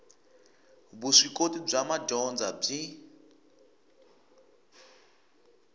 vuswikoti bya madyondza byi